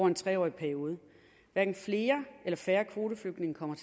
en tre årig periode hverken flere eller færre kvoteflygtninge kommer